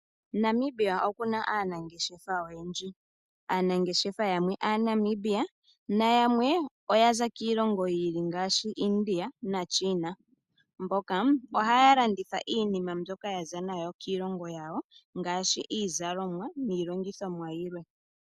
Namibia okuna aanangeshefa oyendji, yamwe aanamibia nayamwe oya za kiilongo yiili ngaashi India naChina mboka haya landitha iinima mbyoka ya za nayo kiilongo yawo ngaashi iizalomwa niilongithomwa yilwe.